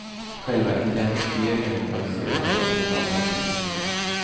Själva identifieringen sköts sedan av kriminaltekniker.